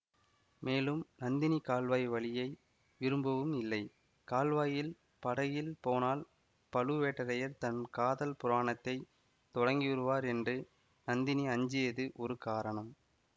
மேலும் நந்தினி கால்வாய் வழியை விரும்பவும் இல்லை கால்வாயில் படகில் போனால் பழுவேட்டரையர் தம் காதல் புராணத்தைத் தொடங்கிவிடுவார் என்று நந்தினி அஞ்சியது ஒரு காரணம்